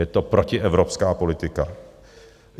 Je to protievropská politika.